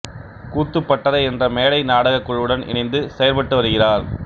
கூத்துப்பட்டறை என்ற மேடை நாடகக் குழுவுடன் இணைந்து செயற்பட்டு வருகிறார்